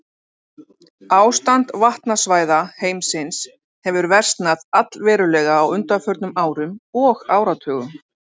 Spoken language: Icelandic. Ástand vatnasvæða heimsins hefur versnað allverulega á undanförnum árum og áratugum.